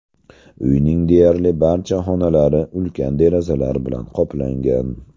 Uyning deyarli barcha xonalari ulkan derazalar bilan qoplangan.